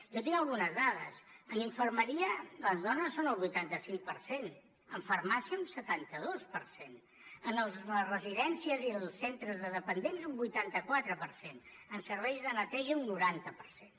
jo tinc algunes dades en infermeria les dones són el vuitanta cinc per cent en farmàcia un setanta dos per cent en les residències i els centres de dependents un vuitanta quatre per cent en serveis de neteja un noranta per cent